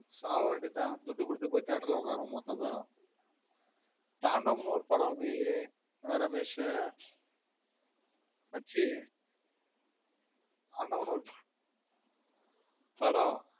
சவவெண்டிதன் துட்டுகுடுது theater la ஒக்கார மொத்த பேரும் தாண்டவம்னு ஒரு படம் வந்துது ரமேஷ் மச்சி தாண்டவம் படம்